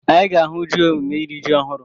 Anyị ga-ahụ ji emume iri ji ọhụrụ.